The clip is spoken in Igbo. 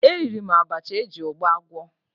Eriri m abacha eji ụgba gwọ